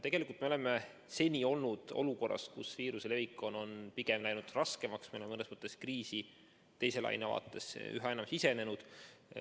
Tegelikult oleme seni olnud olukorras, kus viiruse levik on pigem läinud raskemaks, me oleme mõnes mõttes üha enam sisenenud kriisi teise laine vaatesse.